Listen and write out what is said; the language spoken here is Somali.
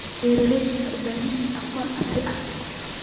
Beeraleydu waxay u baahan yihiin aqoon casri ah.